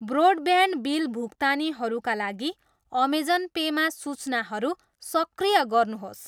Broadband bill भुक्तानीहरूका लागि Amazon पेमा सूचनाहरू सक्रिय गर्नुहोस्।